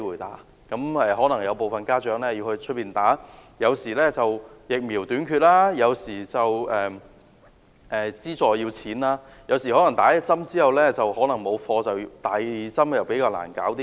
否則，如大部分家長要在校外接種，而基於疫苗短缺，或需要金錢資助，接種第一劑後可能沒有貨，第二劑便較難處理。